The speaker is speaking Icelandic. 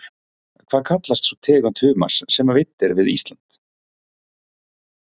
Hvað kallast sú tegund humars sem veidd er við Ísland?